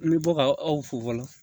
N bɛ bɔ ka aw fo fɔlɔ